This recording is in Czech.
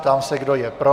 Ptám se, kdo je pro.